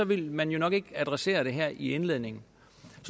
ville man jo nok ikke adressere det her i indledningen